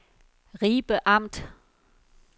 Ribe Amt